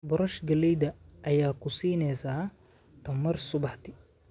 Boorash galleyda ayaa ku siinaysa tamar subaxdii.